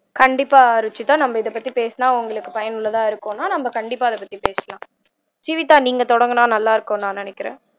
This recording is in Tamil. கண்டிப்பா ருஷிதா நம்ம இதைப்பத்தி பேசுனா உங்களுக்கு பயனுள்ளதா இருக்கும்னா நம்ம கண்டிப்பா இதைப்பத்தி பேசலாம் ஜீவிதா நீங்க தொடங்குனா நல்லாருக்கும்னு நான் நினைக்கிறேன்